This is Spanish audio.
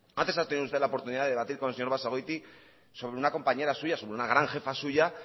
antes ha tenido usted la oportunidad de debatir con el señor basagoiti sobre una compañera suya sobre una gran jefa suya